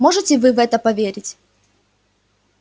можете вы в это поверить